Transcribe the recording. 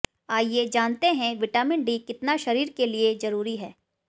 आइए जानते है विटामिन डी कितना शरीर के लिए जरुरी है